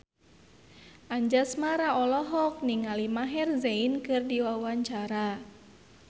Anjasmara olohok ningali Maher Zein keur diwawancara